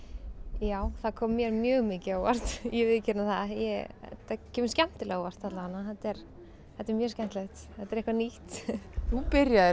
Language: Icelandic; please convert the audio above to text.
já það kom mér mjög mikið á óvart ég viðurkenni það þetta kemur skemmtilega á óvart allavega þetta er mjög skemmtilegt þetta er eitthvað nýtt þú byrjaðir